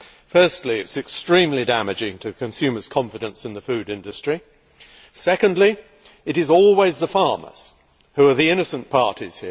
Firstly, it is extremely damaging to consumer confidence in the food industry and, secondly, it is always the farmers who are the innocent parties.